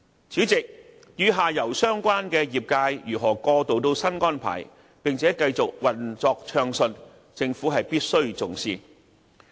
主席，與下游相關的業界如何過渡到新安排，並且繼續暢順運作，政府必須重視。